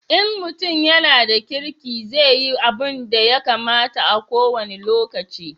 In mutum ya na da kirki zai yi abunda ya kamata a ko wani lokaci